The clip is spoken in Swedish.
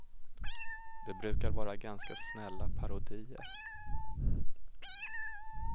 Det brukar vara ganska snälla parodier.